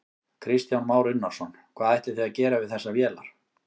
Kristján Már Unnarsson: Hvað ætlið þið að gera við þessar vélar?